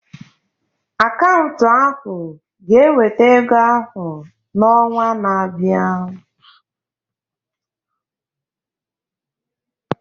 Akaụntụ ahu ga-eweta ego ahụ n'ọnwa na-abịa.